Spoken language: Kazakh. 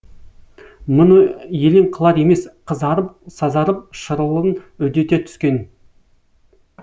мұны елең қылар емес қызарып сазарып шырылын үдете түскен